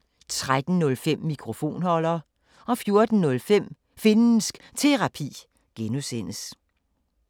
05:05: Rushys Roulette – sammendrag 10:05: Cordua & Steno 11:05: Cordua & Steno, fortsat 13:05: Mikrofonholder 14:05: Finnsk Terapi (G)